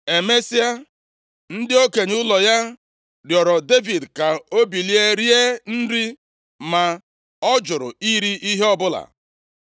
Emesịa, ndị okenye ụlọ ya rịọrọ Devid ka o bilie rie nri, ma ọ jụrụ iri ihe ọbụla.